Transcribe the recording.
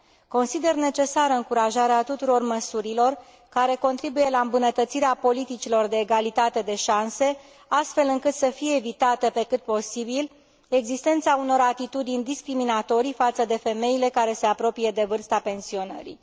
Consider necesară încurajarea tuturor măsurilor care contribuie la îmbunătățirea politicilor de egalitate de șanse, astfel încât să fie evitată, pe cât posibil, existența unor atitudini discriminatorii față de femeile care se apropie de vârsta pensionării.